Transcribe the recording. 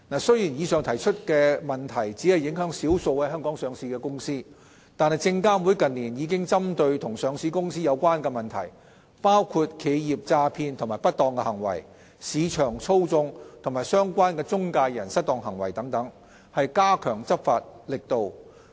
雖然以上提及的問題只影響少數在香港上市的公司，但證監會近年已針對與上市公司有關的問題，包括企業詐騙及不當行為、市場操縱和相關的中介人失當行為等，加強執法力度。